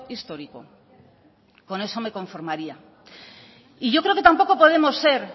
histórico con eso me conformaría y yo creo que tampoco podemos ser